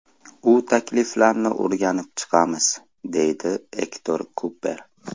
U takliflarni o‘rganib chiqamiz”, deydi Ektor Kuper.